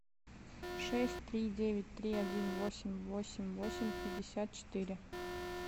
шесть три девять три один восемь восемь восемь пятьдесят четыре